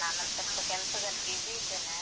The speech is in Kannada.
ನಾನೊಂದು ಸ್ವಲ್ಪ ಕೆಲ್ಸದಲ್ಲಿ busy ಇದ್ದೇನೆ.